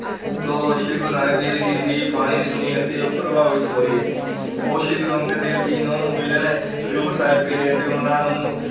ਤੋਂ ਸ੍ਰੀ ਗੁਰੂ ਨਾਨਕ ਦੇਵ ਜੀ ਦੀ ਬਾਣੀ ਸੁਣੀ ਅਤੇ ਉਹ ਪ੍ਰਭਾਵਿਤ ਹੋਏ, ਉਹ ਸ੍ਰੀ ਗੁਰੂ ਅੰਗਦ ਦੇਵ ਜੀ ਨੂੰ ਮਿਲਣ ਖਡੂਰ ਸਾਹਿਬ ਗਏ ਅਤੇ ਉਹਨਾਂ ਨੂੰ